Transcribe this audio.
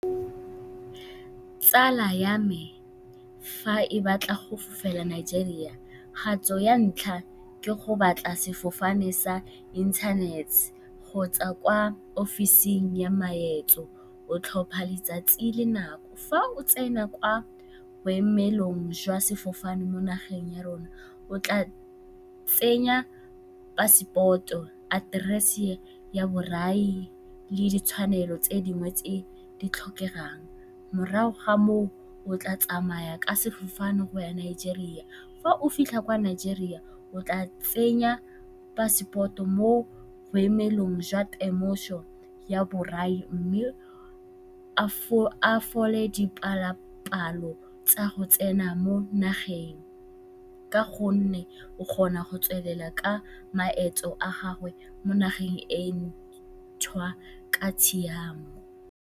Tsala ya me fa ke batla go fofela Nigeria, kgato ya ntlha ke go batla sefofane sa kgotsa kwa ofising ya maeto, o tlhopha letsatsi le nako. Fa o tsena kwa boemelong jwa sefofane mo nageng ya rona, o tla tsenya passport-o, aterese ya borai le ditshwanelo tse dingwe tse di tlhokegang. Morago ga moo o tla tsamaya ka sefofane go ya Nigeria. Fa o fitlha kwa Nigeria, o tla tsenya passport-o mo boemelong jwa temoso ya borai mme a fole dipalopalo tsa go tsena mo nageng ka gonne o kgona go tswelela ka maeto a gagwe mo nageng e e ntšhwa ka tshiamo.